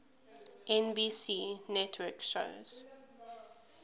nbc network shows